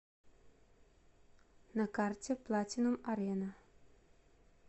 на карте платинум арена